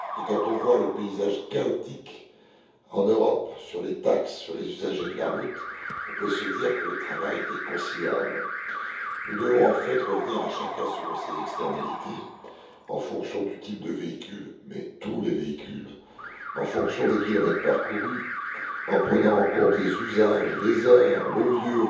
Et quand on voit le paysage chaotique en Europe sur les taxes sur les usagers de la route, on peut se dire que le travail est considérable. Nous devons en fait revenir aux externalités de chacun en fonction du type de véhicule mais pour tous les véhicules, en fonction des kilomètres parcourus, en prenant en compte les usages, les heures, le lieu,